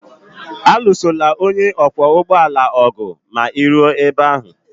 Alụsola onye ọkwọ ụgbọala ọgụ ma ị ruo ebe ahụ!